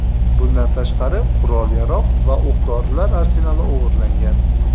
Bundan tashqari, qurol-yarog‘ va o‘q-dorilar arsenali o‘g‘irlangan.